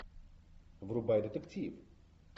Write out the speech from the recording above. врубай детектив